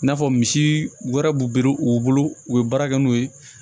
I n'a fɔ misi wɛrɛ b'u bere u bolo u bɛ baara kɛ n'u ye